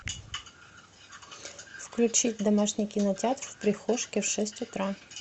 включить домашний кинотеатр в прихожке в шесть утра